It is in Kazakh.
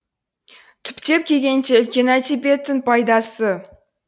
түптеп келгенде үлкен әдебиеттің пайдасы